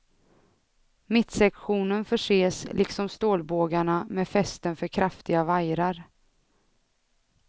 Mittsektionen förses, liksom stålbågarna, med fästen för kraftiga vajrar.